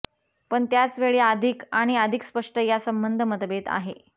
पण त्याच वेळी अधिक आणि अधिक स्पष्ट या संबंध मतभेद आहे